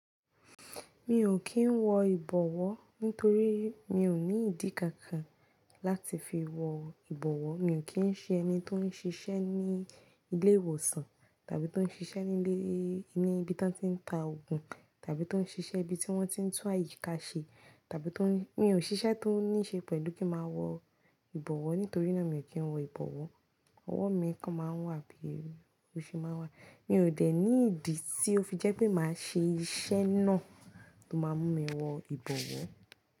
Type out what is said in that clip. Mi ò kí ń wọ ìbọ̀wọ́ nítorí mi ò ní ìdí kankan láti fi wọ ìbọ̀wọ́. Mi ò kí ń ṣe ẹni tó ń ṣiṣẹ́ ní ilé ìwòsàn tàbí tó ń ṣiṣẹ́ ní ilé, ní ibi tí wọ́n ti ń ta òògùn tàbí tó ń ṣiṣẹ́ ibi tí wọ́n ti ń tú àyíká ṣe tàbí tó ń-- mi ò ṣiṣẹ́ tó ní ṣe pẹ̀lú kí màá wọ ìbọ̀wọ́. Nítorí náà, mi ò kí ń wọ ìbọ̀wọ́. Ọwọ́ mi kan máa ń wà bí erù, òṣì máa wà. Mi ò dẹ̀ ní ìdí tí ó fi jẹ́ pé màá ṣe iṣẹ́ náà tó máa mú mi wọ ìbọ̀wọ́.